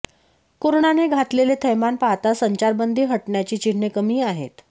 कोरोनाने घातलेले थैमान पाहता संचारबंदी हटण्याची चिन्हे कमी आहेत